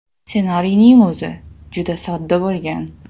Ssenariyning o‘zi juda sodda bo‘lgan.